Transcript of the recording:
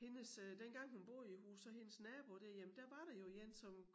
Hendes øh dengang hun boede i æ hus så hendes nabo derhjemme der var der jo én som